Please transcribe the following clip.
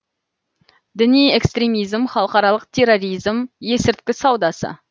діни экстремизм халықаралық терроризм есірткі саудасы